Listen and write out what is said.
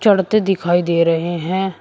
लड़के दिखाई दे रहे हैं।